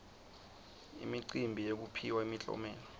imicimbi yekuphiwa imiklomelo